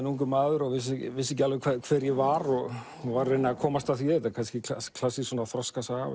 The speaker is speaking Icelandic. ungur maður og vissi vissi ekki alveg hver ég var var að reyna að komast að því kannski klassísk þroskasaga